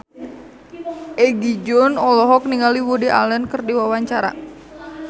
Egi John olohok ningali Woody Allen keur diwawancara